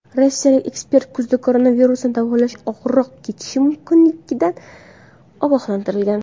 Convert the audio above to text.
Rossiyalik ekspert kuzda koronavirusni davolash og‘irroq kechishi mumkinligidan ogohlantirgan .